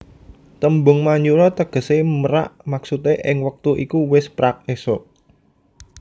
Tembung Manyura tegesé merak maksude ing wektu iku wis prak esuk